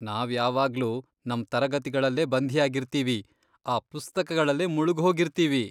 ನಾವ್ ಯಾವಾಗ್ಲೂ ನಮ್ ತರಗತಿಗಳಲ್ಲೇ ಬಂಧಿಯಾಗಿರ್ತೀವಿ, ಆ ಪುಸ್ತಕಗಳಲ್ಲೇ ಮುಳ್ಗ್ಹೋಗಿರ್ತೀವಿ.